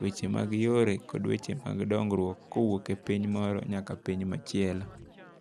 weche mag yore kod weche mag dongruok kowuok e piny moro nyaka piny machielo.